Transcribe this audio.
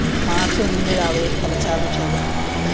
March ഒന്നിന് രാവിലെ കലശാഭിഷേകം